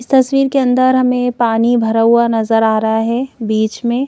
इस तस्वीर के अंदर हमे पानी भरा हुआ नज़र आ रहा है बीच मे।